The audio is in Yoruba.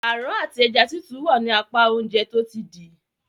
Aràn àti ẹja titu wá ní apá Oúnjẹ tó ti dì.